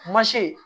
Mansin